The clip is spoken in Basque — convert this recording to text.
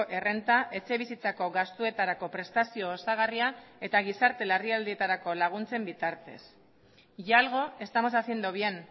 errenta etxebizitzako gastuetarako prestazio osagarria eta gizarte larrialdietarako laguntzen bitartez y algo estamos haciendo bien